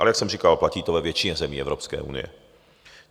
Ale jak jsem říkal, platí to ve většině zemí Evropské unie.